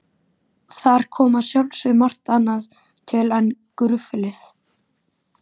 Þar kom að sjálfsögðu margt annað til en gruflið.